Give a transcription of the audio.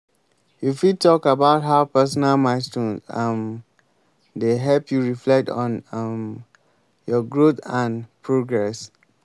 you fit talk about how personal milestones um dey help you reflect on um your growth and progress.